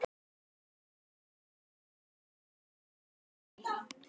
Þetta var um hávetur í miklu frosti.